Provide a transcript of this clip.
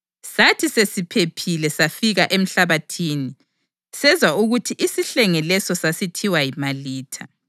Sathi sesiphephile safika emhlabathini, sezwa ukuthi isihlenge leso sasithiwa yiMalitha.